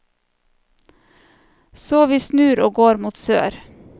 Så vi snur og går mot sør.